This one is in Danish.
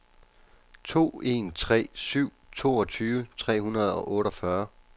to en tre syv toogtyve tre hundrede og otteogfyrre